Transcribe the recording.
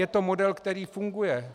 Je to model, který funguje.